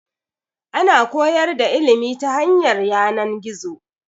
Ana koyar da ilimi ta hanyar yanan-gizo